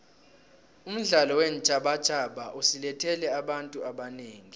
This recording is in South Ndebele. umdlalo weentjhabatjhaba usilethele abantu abanengi